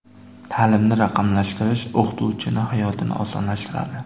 Ta’limni raqamlashtirish o‘qituvchining hayotini osonlashtiradi.